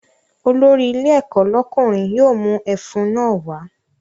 Olórí ilé ẹ̀kọ́ lọ́kùnrin yóò mú ẹfun náà wá